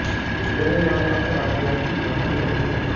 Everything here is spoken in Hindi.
कोच बोलने वाले अक्सर राजबोंग्शी भाषा भी जानते हैं